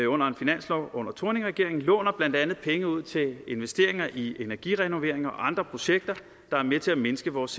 under en finanslov under thorning schmidt regeringen låner blandt andet penge ud til investeringer i energirenoveringer og andre projekter der er med til at mindske vores